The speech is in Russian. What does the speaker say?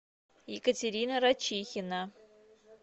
екатерина рачихина